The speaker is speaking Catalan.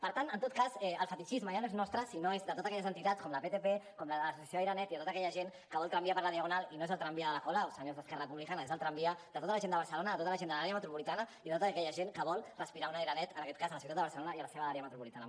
per tant en tot cas el fetitxisme ja no és nostre sinó que és de totes aquelles entitats com la ptp com l’associació aire net i tota aquella gent que vol tramvia per la diagonal i no és el tramvia de la colau senyors d’esquerra republicana és el tramvia de tota la gent de barcelona de tota la gent de l’àrea metropolitana i de tota aquella gent que vol respirar un aire net en aquest cas a la ciutat de barcelona i a la seva àrea metropolitana